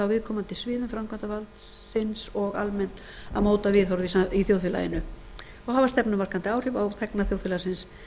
viðkomandi sviðum framkvæmdarvaldsins og almennt að móta viðhorf í þjóðfélaginu og hafa stefnumarkandi áhrif á þá þegna þjóðfélagsins